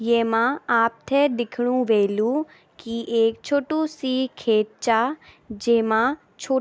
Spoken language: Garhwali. येमा आपथे दिख्णु ह्वेलु की एक छोटू सी खेत चा जेमा छो --